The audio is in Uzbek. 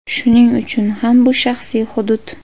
Shuning uchun ham bu shaxsiy hudud.